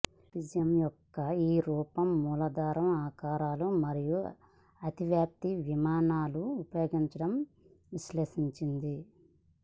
cubism యొక్క ఈ రూపం మూలాధార ఆకారాలు మరియు అతివ్యాప్తి విమానాలు ఉపయోగించడం విశ్లేషించింది